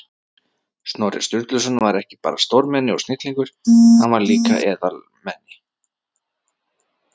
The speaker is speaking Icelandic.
Snorri Sturluson var ekki bara stórmenni og snillingur, hann var líka eðalmenni.